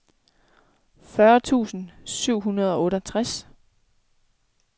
fyrre tusind syv hundrede og otteogtres